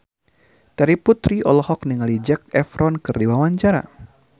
Terry Putri olohok ningali Zac Efron keur diwawancara